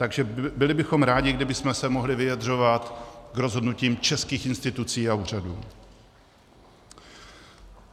Takže bychom byli rádi, kdybychom se mohli vyjadřovat k rozhodnutím českých institucí a úřadů.